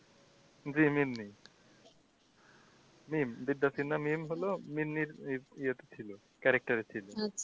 জি Mimi character এ ছিলো।